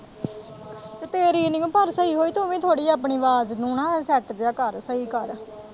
ਤੇਰੀ ਨੀ ਪਰ ਸਹੀ ਹੋਈ ਤੂੰ ਵੀ ਥੋੜ੍ਹੀ ਜਿਹੀ ਆਪਣੀ ਆਵਾਜ਼ ਨੂੰ ਨਾ ਸੈੱਟ ਜਿਹਾ ਕਰ ਸਹੀ ਕਰ।